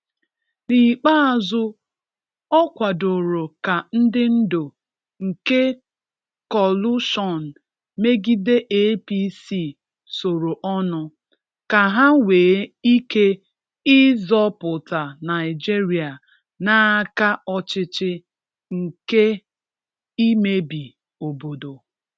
N’ikpeazụ, o kwadoro ka ndị ndu nke kọlụshọn megide APC soro ọnụ, ka ha nwee ike ịzọpụta Naịjịrịa n’aka ọchịchị nke imebi obodo.